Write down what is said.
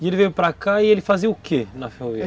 E ele veio para cá e ele fazia o que na ferrovia?